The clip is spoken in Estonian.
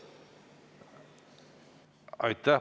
Aitäh!